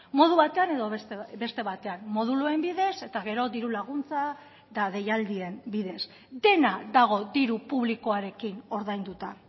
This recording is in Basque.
modu batean edo beste batean moduluen bidez eta gero diru laguntza eta deialdien bidez dena dago diru publikoarekin ordainduta